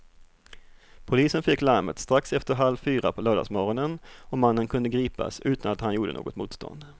Polisen fick larmet strax efter halv fyra på lördagsmorgonen och mannen kunde gripas utan att han gjorde något motstånd.